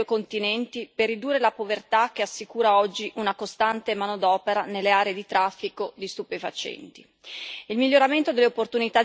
Auspico una maggiore cooperazione tra i due continenti per ridurre la povertà che assicura oggi una costante manodopera nelle aree di traffico di stupefacenti.